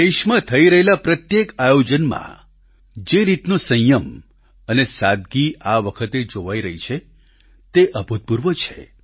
દેશમાં થઈ રહેલા પ્રત્યેક આયોજનમાં જે રીતનો સંયમ અને સાદગી આ વખતે જોવાઈ રહી છે તે અભૂતપૂર્વ છે